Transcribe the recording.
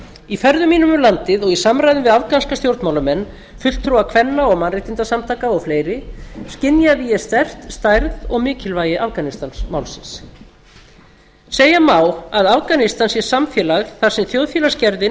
í ferðum mínum um landið og í samræðum við afganska stjórnmálamenn fulltrúa kvenna og mannréttindasamtaka og fleiri skynjaði ég sterkt stærð og mikilvægi afganistanmálsins segja má að afganistan sé samfélag þar sem þjóðfélagsgerðin